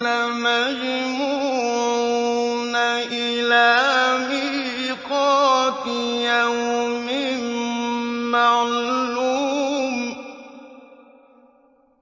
لَمَجْمُوعُونَ إِلَىٰ مِيقَاتِ يَوْمٍ مَّعْلُومٍ